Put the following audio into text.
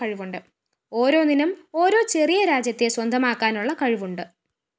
ഒരോന്നിനും ഓരോ ചെറിയ രാജ്യത്തെ സ്വന്തമാക്കാനുള്ള കഴിവുണ്ട്